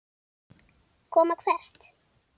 Koma hvert?